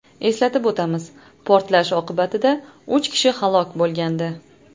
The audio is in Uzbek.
Eslatib o‘tamiz, portlash oqibatida uch kishi halok bo‘lgandi .